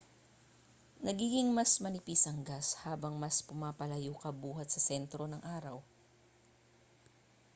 nagiging mas manipis ang gas habang mas pumapalayo ka buhat sa sentro ng araw